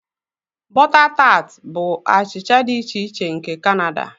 Butter tart bụ achịcha dị iche iche nke Canada.